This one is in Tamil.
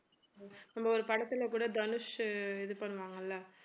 அந்த ஒரு படத்துல கூட தனுஷ் இது பண்ணுவாங்க இல்ல